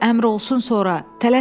qoy əmr olsun sonra.